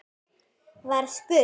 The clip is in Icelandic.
var spurt.